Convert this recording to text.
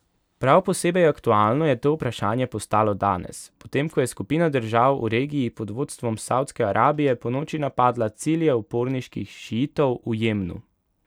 Prav posebej aktualno je to vprašanje postalo danes, potem ko je skupina držav v regiji pod vodstvom Savdske Arabije ponoči napadla cilje uporniških šiitov v Jemnu.